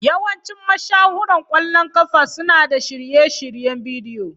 Yawancin mashahuran ƙwallon ƙafa suna da shirye-shiryen bidiyo.